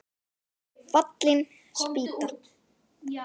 Fallin spýta